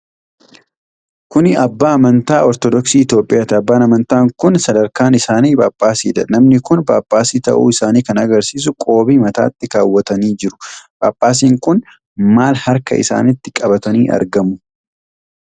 Kuni abbaa amantaa amantii Ortodoksii Itoophiyaati. Abbaan amantaa kun sadarkaan isaanii Phaaphaasidha. Namni kun Phaaphaasii ta'uu isaanii kan agarsiisu qoobii mataatti kaawwatanii jiru. Phaaphaasiin kun maal harka isaanitti qabatanii argamu?